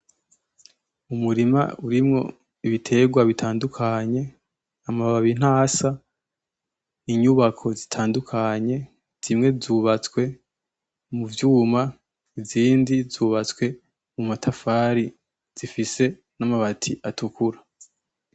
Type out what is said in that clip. Umurima urimwo ibitegwa bitandukanye, amababi ntasa, inyubako zitandukanye, zimwe zubatswe mu vyuma, izindi zubatswe mu matafari, zifise n'amabati gatukura.